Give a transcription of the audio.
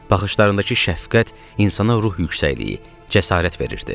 Baxışlarındakı şəfqət insana ruh yüksəkliyi, cəsarət verirdi.